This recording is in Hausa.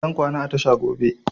Zan kwana a tasha gobe